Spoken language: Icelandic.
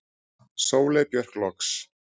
Sóley Björk loks.